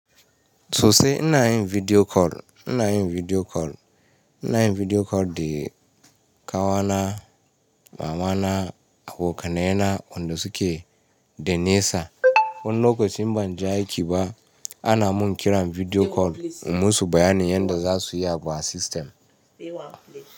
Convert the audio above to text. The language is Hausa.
Sosai ina yin video call, ina yin video call, ina yin video call da ƙawa na, mama na, abokanai na, wanda suke a nesa. Wani lokacin in ban je aiki ba ana mun kiran video call in musu bayanin yanda za su yi abu a system.